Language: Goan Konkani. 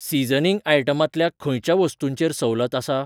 सीजनिंग आयटमांतल्या खंयच्या वस्तूंचेर सवलत आसा?